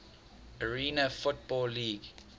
arena football league